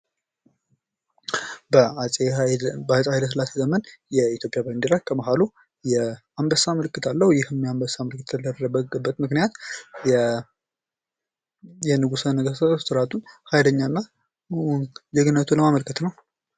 በአጼ ኃይለሥላሴ ዘመን የኢትዮጵያ ባንዲራ ከመሀሉ የአንበሳ ምልክት አለው የአንበሳ ምልክት የተደረገበት ምክንያት የንጉሠ ነገሥት ኃይለኛና ጀግንነቱን ማመልከት ነው።